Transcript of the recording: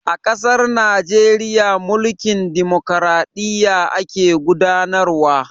A ƙasar Najeriya, mulkin dimokraɗiyya ake gudanar wa.